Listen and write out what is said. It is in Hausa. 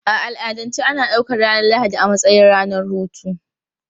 A al'adance ana ɗaukar ranar Lahadi a matsayin ranar hutu.